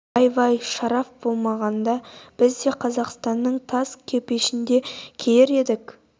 вай-вай шараф болмағанда біз де қазақстанның таз кепешін киер едік қой